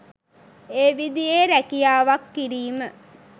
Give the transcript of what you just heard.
ඒ විදියේ රැකියාවක් කිරීම